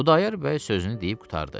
Xudayar bəy sözünü deyib qurtardı.